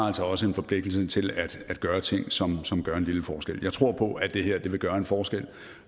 altså også en forpligtelse til at gøre ting som som gør en lille forskel jeg tror på at det her vil gøre en forskel